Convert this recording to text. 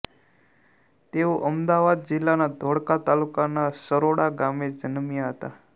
તેઓ અમદાવાદ જિલ્લાના ધોળકા તાલુકાના સરોડા ગામે જન્મ્યા હતા